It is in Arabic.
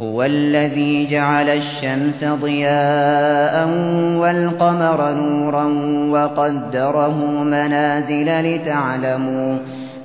هُوَ الَّذِي جَعَلَ الشَّمْسَ ضِيَاءً وَالْقَمَرَ نُورًا وَقَدَّرَهُ مَنَازِلَ